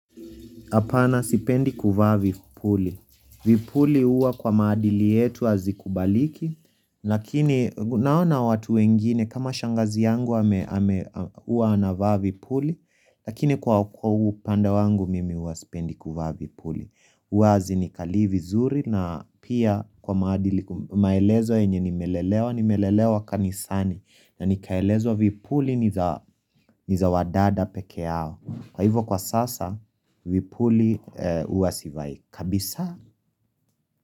Hapana sipendi kuvaa vipuli. Vipuli huwa kwa maadili yetu hazikubaliki. Lakini naona watu wengine kama shangazi yangu huwa anavaa vipuli. Lakini kwa upandr wangu mimi huwa sipendi kuvaa vipuli. Huwa hazinikali vizuri na pia kwa maadili maelezo yenye nimelelewa. Nimelelewa kanisani na nikaelezwa vipuli ni za wadada pekee yao. Kwa hivyo kwa sasa, vipuli huwa sivai kabisa.